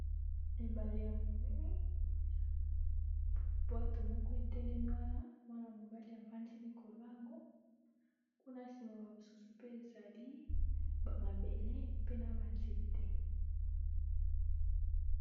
Ebale ya monene. Bwato moko etelemi wana, mwana mobali afandi likoilo na yango. Kuna nsima ba mosusu pe ba zali. Bamabele pe na ba nzete.